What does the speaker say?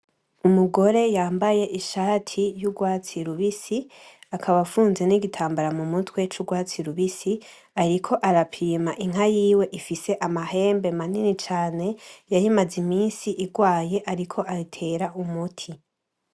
Umugore yambaye ishati y'urwatsi rubisi, akaba afunze n'igitambara mu mutwe c'urwatsi rubisi, ariko arapima inka yiwe ifise amahembe manini cane yarimaze imisi igwaye yariko ayitera umuti.